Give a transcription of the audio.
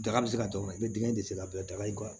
Daga bɛ se ka don ka i bɛ dingɛ de sen a bɛɛ la daga y'i ka